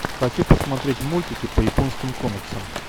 хочу посмотреть мультики по японским комиксам